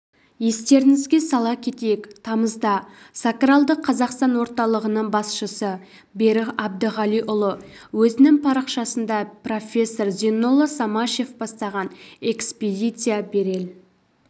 естеріңізге сала кетейік тамызда сакралды қазақстан орталығының басшысы берік әбдіғалиұлы өзінің парақшасында профессор зейнолла самашев бастаған экспедиция берел